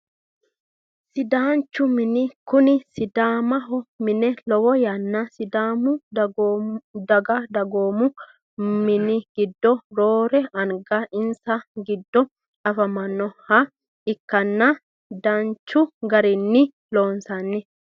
Sidaancho mine kone sidaancho mine lowo yanna sidaau daganna dagoomu mani giddo roore anga insa giddo anfaniha ikanna danchu garini loonsoni.